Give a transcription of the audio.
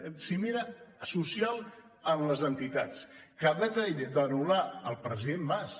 cimera social amb les entitats que va haver d’anul·lar el president mas